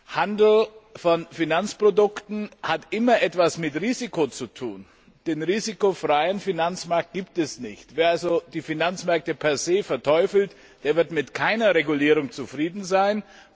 Der Handel mit Finanzprodukten hat immer etwas mit Risiko zu tun, den risikofreien Finanzmarkt gibt es nicht. Wer also die Finanzmärkte per se verteufelt, der wird mit keiner Regulierung zufrieden sein.